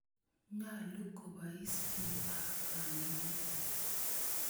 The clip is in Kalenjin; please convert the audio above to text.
Nyalu kopois piik ak kandoik.